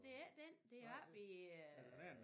Det er ikke den det er oppe i øh